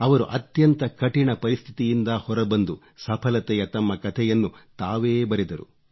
ಅವರು ಅತ್ಯಂತ ಕಠಿಣ ಪರಿಸ್ಥಿತಿಯಿಂದ ಹೊರ ಬಂದು ಸಫಲತೆಯ ತಮ್ಮ ಕಥೆಯನ್ನು ತಾವೇ ಬರೆದರು